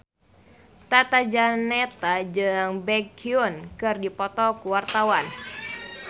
Tata Janeta jeung Baekhyun keur dipoto ku wartawan